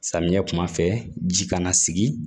Samiɲɛ kuma fɛ ji kana sigi